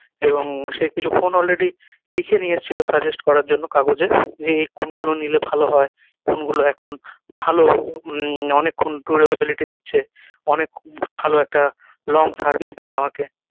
এবং সে কিছু ফোন already লিখে নিয়ে এসছিলো suggest করার জন্য কাগজে যে এই কোন গুলো নিলে ভালো হয় কোন গুলো এখন ভালো উম অনেক ক্ষন to ability দিচ্ছে অনেক ভালো একটা long service দেবে আমাকে